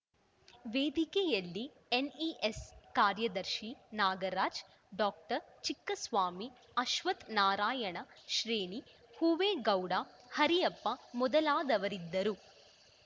ವೇದಿಕೆಯಲ್ಲಿ ಎನ್‌ಇಎಸ್‌ ಕಾರ್ಯದರ್ಶಿ ನಾಗರಾಜ್‌ ಡಾಕ್ಟರ್ ಚಿಕ್ಕಸ್ವಾಮಿ ಅಶ್ವತ್ಥ್ ನಾರಾಯಣ ಶ್ರೇಷ್ಠಿ ಹೂವೇಗೌಡ ಹರಿಯಪ್ಪ ಮೊದಲಾದವರಿದ್ದರು